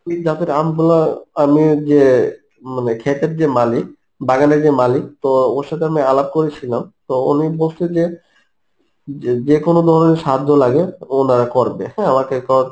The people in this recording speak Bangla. জাতের আমগুলা আমিও যে মানে ক্ষেতের যে মালিক বাগানের যে মালিক তো ওর সাথে আমি আলাপ করেছিলাম তো উনি বলছে যে, যে যে কোন ধরনের সাহায্য লাগে ওনারা করবে, হম আমাকে কথা